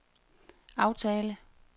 aftale